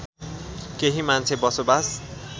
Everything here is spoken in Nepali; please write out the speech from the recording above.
केही मान्छे बसोबास